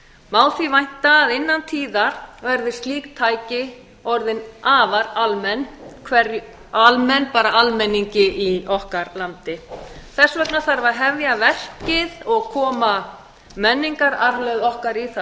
má þess vænta að innan tíðar verði slík tæki orðin mjög almenn almenningi í okkar landi þess vegna þarf að hefja þetta verk og koma menningararfleifð okkar í það